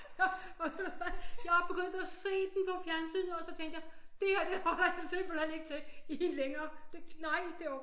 Jeg var begyndt at se den på fjernsynet og så tænkte jeg det her det holder jeg simpelthen ikke til i en længere nej det